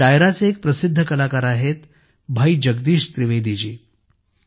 या डायराचे एक प्रसिध्द कलाकार आहेत भाई जगदीश त्रिवेदी जी